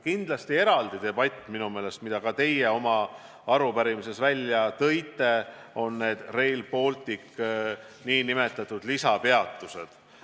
Kindlasti väärivad eraldi debatti minu meelest – ka teie tõite selle oma arupärimises välja – need Rail Balticu lisapeatused.